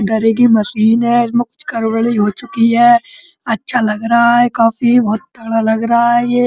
की मशीन है। इसमें कुछ गड़बड़ी हो चुकी है। अच्छा लग रहा है काफी। बहोत तगड़ा लग रहा है ये।